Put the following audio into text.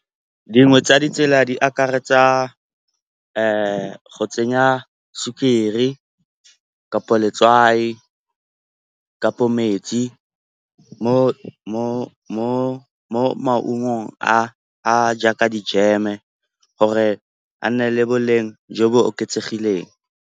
Dingwe tsa ditsela di akaretsa go tsenya sukiri kapo letswai, kapo metsi mo maungong a jaaka dijeme gore a nne le boleng jo bo oketsegileng.